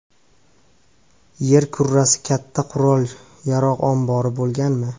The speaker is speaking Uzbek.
Yer kurrasi katta qurol-yarog‘ ombori bo‘lganmi?